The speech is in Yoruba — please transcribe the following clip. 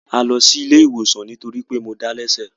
A lọ sí ilé ìwòsàn nítórí pé mo dá lẹ́sẹ̀